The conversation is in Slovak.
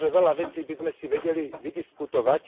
A možnože veľa vecí by sme si vedeli vydiskutovať.